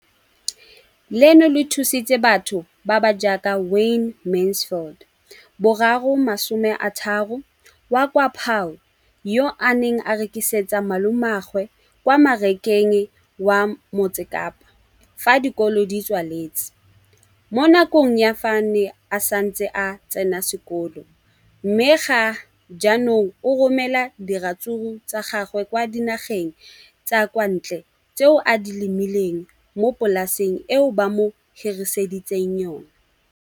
leno le thusitse batho ba ba jaaka Wayne Mansfield, 33, wa kwa Paarl, yo a neng a rekisetsa malomagwe kwa Marakeng wa Motsekapa fa dikolo di tswaletse, mo nakong ya fa a ne a santse a tsena sekolo, mme ga jaanong o romela diratsuru tsa gagwe kwa dinageng tsa kwa ntle tseo a di lemileng mo polaseng eo ba mo hiriseditseng yona.